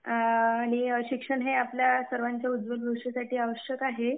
आणि शिक्षण हे आपल्या सर्वांच्या उज्वल भविष्यासाठी आवश्यक आहे.